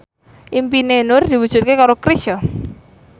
impine Nur diwujudke karo Chrisye